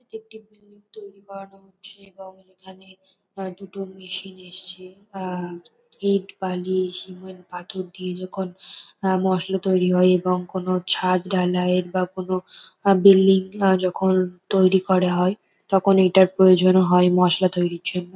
এটা একটি বিল্ডিং তৈরী করানো হচ্ছে এবং এখানে আ দুটো মেশিন এসছে আহ ইট বালি সিমেন্ট পাথর দিয়ে যখন আ মশলা তৈরি হয় এবং কোন ছাদ ঢালাইয়ের বা কোন আ বিল্ডিং যখন তৈরি করা হয় তখন এটার প্রয়োজন হয় মশলা তৈরীর জন্য।